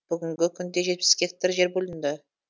бүгінгі күнде жетпіс гектар жер бөлінді